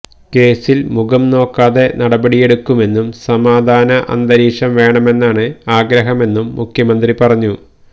കേസില് മുഖം നോക്കാതെ നടപടിയെടുക്കുമെന്നും സമാധാന അന്തരീക്ഷം വേണമെന്നാണ് ആഗ്രഹമെന്നും മുഖ്യമന്ത്രി പറഞ്ഞു